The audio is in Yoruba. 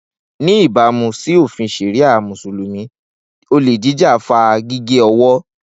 Ni ibamu si ofin sharia Musulumi, jija fa gige gige ọwọ.